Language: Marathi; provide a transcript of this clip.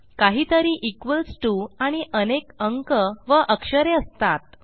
काहीतरी इक्वॉल्स टीओ आणि अनेक अंक व अक्षरे असतात